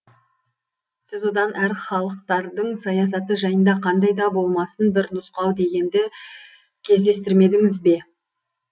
сіз одан әр халықтардың саясаты жайында қандай да болмасын бір нұсқау дегенді кездестірмедіңіз бе